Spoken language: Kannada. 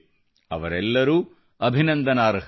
ಅವರೆಲ್ಲರೂ ಅಭಿನಂದನಾರ್ಹರು